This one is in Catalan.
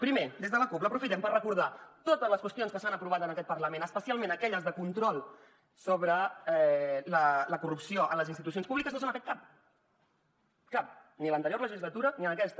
primer des de la cup l’aprofitem per recordar de totes les qüestions que s’han aprovat en aquest parlament especialment aquelles de control sobre la corrupció en les institucions públiques no se n’ha fet cap cap ni a l’anterior legislatura ni en aquesta